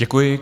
Děkuji.